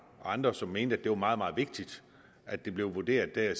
og andre som mente at det var meget meget vigtigt at det blev vurderet af